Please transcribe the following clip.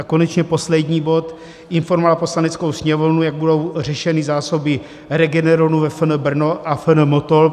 A konečně poslední bod: Informovat Poslaneckou sněmovnu, jak budou řešeny zásoby Regeneronu ve FN Brno a FN Motol.